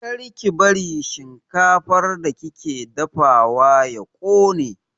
Kar ki bari shinkafar da kike dafawa ya ƙone!